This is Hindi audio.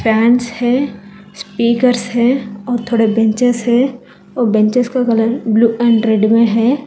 पैंट्स है स्पीकर्स है और थोड़े बेंचस हैं और बेंचेस के कलर ब्लू एंड रेड में है।